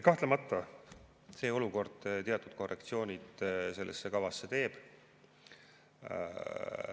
Kahtlemata see olukord teatud korrektsioonid sellesse kavasse teeb.